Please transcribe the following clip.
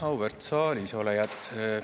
Auväärt saalisolijad!